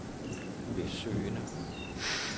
besøgende